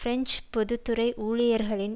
French பொது துறை ஊழியர்களின்